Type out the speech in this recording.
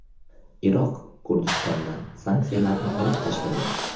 Iroq Kurdistondan sanksiyalarni olib tashlaydi.